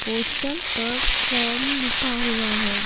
Postal पर form लिखा हुआ है।